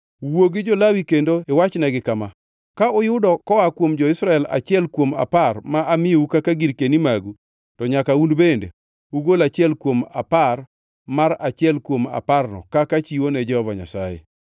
“Wuo gi jo-Lawi kendo iwachnegi kama: ‘Ka uyudo koa kuom jo-Israel achiel kuom apar ma amiyou kaka girkeni magu, to nyaka un bende ugol achiel kuom apar mar achiel kuom aparno kaka chiwo ne Jehova Nyasaye.